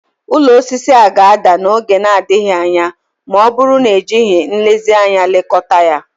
Ụlọ osisi a ga-ada n'oge na-adịghị anya ma ọ bụrụ na ejighị nlezianya lekọta ya